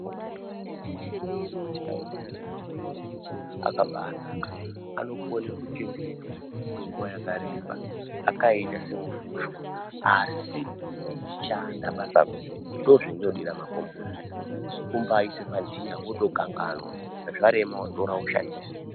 Makomboti ngechekuti amweni acho makomboti akaba anaka. Anokone kuchengetwa kwenguva yakareba akaita semufushwa asi eishanda basa guru. Ndozvendinodira makomboti izvozvo, kumbaaise pantiya wotokanganwa, zvarema wotora woshandisa.